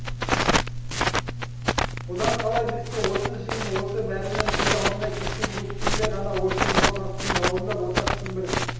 одан қала берсе осы жиын осы бәріңнің көз алдында кешегі көктемде ғана осы мынау тастың бауырында борсақтың бір